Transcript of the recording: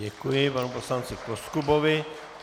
Děkuji panu poslanci Koskubovi.